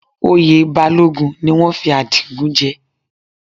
Oyè Balógun ni wọ́n fi Adigun jẹ